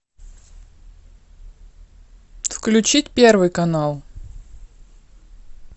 включить первый канал